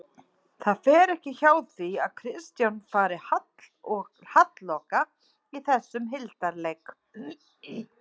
Það fer ekki hjá því að Kristján fari halloka í þessum hildarleik